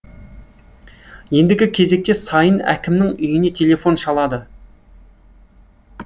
ендігі кезекте сайын әкімнің үйіне телефон шалады